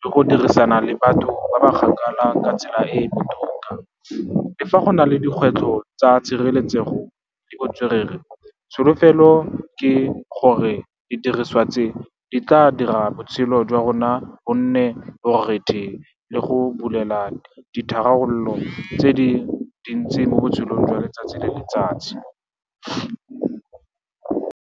le go dirisana le batho ba ba kgakala ka tsela e e botoka. Le fa go na le dikgwetlho tsa tshireletsego le botswerere, tsholofelo ke gore didiriswa tse di tla dira botshelo jwa rona bo nne borethe le go bulela ditharabololo tse di dintsi mo botshelong jwa letsatsi le letsatsi.